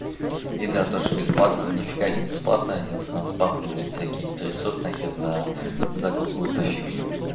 еда то что бесплатно нифига не бесплатно они с нас бабки блядь бабки всякие трясут нахер за за какую-то фигню